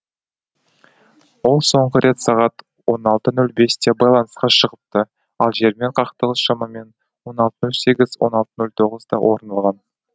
ол соңғы рет сағат он алты нөл бесте байланысқа шығыпты ал жермен қақтығыс шамамен он алты нөл сегіз он алты нөл тоғызда орын алған